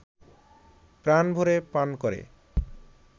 প্রাণ ভরে পান করে